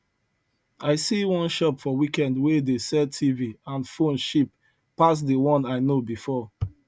i see one shop for weekend wey dey sell tv and phone cheap pass the one i know before